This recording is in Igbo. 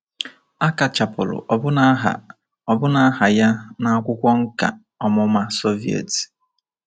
A kachapụrụ ọbụna aha ọbụna aha ya n’akwụkwọ nkà ọmụma Soviet.